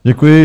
Děkuji.